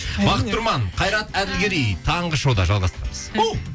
бақыт тұрман қайрат әділгерей таңғы шоуда жалғастырамыз оу